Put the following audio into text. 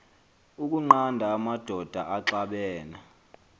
ukunqanda amadoda axabene